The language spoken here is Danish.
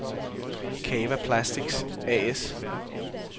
Cava Plastics A/S